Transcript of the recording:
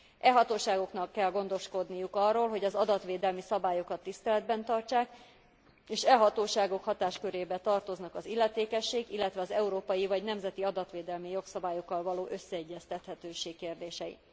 E hatóságoknak kell gondoskodniuk arról, hogy az adatvédelmi szabályokat tiszteletben tartsák, és e hatóságok hatáskörébe tartoznak az illetékesség, illetve az európai vagy nemzeti adatvédelmi jogszabályokkal való összeegyeztethetőség kérdései.